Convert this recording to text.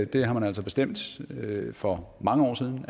det har man altså bestemt for mange år siden